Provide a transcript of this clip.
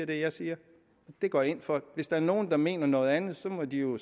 det jeg siger og det går jeg ind for hvis der er nogle der mener noget andet må de jo